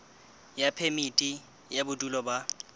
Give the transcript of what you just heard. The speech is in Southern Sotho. ya phemiti ya bodulo ba